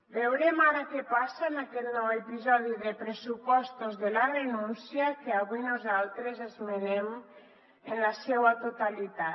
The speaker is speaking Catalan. veurem ara què passa en aquest nou episodi de pressupostos de la renúncia que avui nosaltres esmenem en la seua totalitat